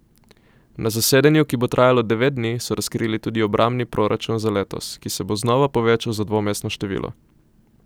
Na zasedanju, ki bo trajalo devet dni, so razkrili tudi obrambni proračun za letos, ki se bo znova povečal za dvomestno število.